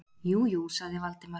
Jú, jú- sagði Valdimar.